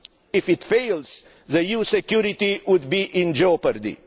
If it fails, the EU security would be in jeopardy.